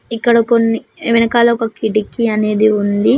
ఇక్కడ కొన్ని వెనకాల ఒక కిడికి అనేది ఉంది.